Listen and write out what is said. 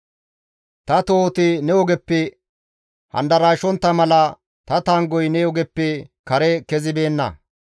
Ta tohoti ne ogeppe handarshontta mala ta tanggoy ne ogeppe kare kezibeenna.